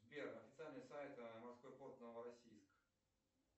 сбер официальный сайт морской порт новороссийск